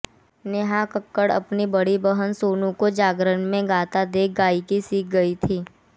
नेहा कक्कड़ अपनी बड़ी बहन सोनू को जागरण में गाता देख गायिकी सीख गई थीं